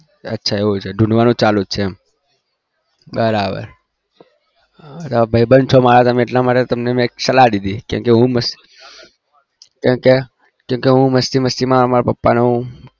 અચ્છા એવું છે શોધવાનું ચાલુ છે બરાબર મારા ભાઈબંધ છે એટલે મે સલા કીધી હું મસ્તી માં મારા પપ્પા ને હું